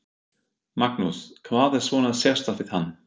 Magnús: Hvað er svona sérstakt við hann?